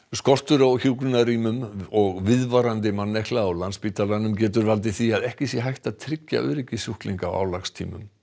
skortur á hjúkrunarrýmum og viðvarandi mannekla á Landspítalanum getur valdið því að ekki sé hægt að tryggja öryggi sjúklinga á álagstímum